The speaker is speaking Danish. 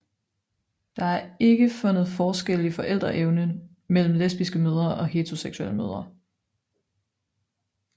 Der er ikke fundet forskelle i forældreevne mellem lesbiske mødre og heteroseksuelle mødre